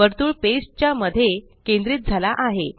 वर्तुळ पेज च्या मध्ये केंद्रित झाला आहे